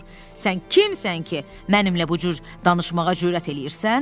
Sən kimsən ki, mənimlə bu cür danışmağa cürət eləyirsən?